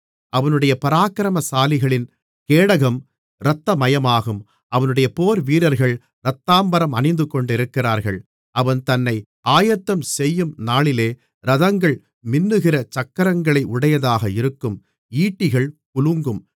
அவனுடைய பராக்கிரமசாலிகளின் கேடகம் இரத்தமயமாகும் அவனுடைய போர்வீரர்கள் இரத்தாம்பரம் அணிந்து கொண்டிருக்கிறார்கள் அவன் தன்னை ஆயத்தம்செய்யும் நாளிலே இரதங்கள் மின்னுகிற சக்கரங்களை உடையதாக இருக்கும் ஈட்டிகள் குலுங்கும்